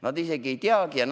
Nad isegi ei tea seda!